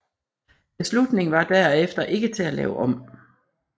Beslutningen var derefter ikke til at lave om